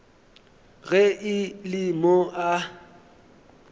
ge e le mo a